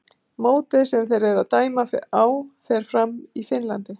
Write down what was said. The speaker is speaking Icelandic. Mótið sem þeir eru að dæma á fer fram í Finnlandi.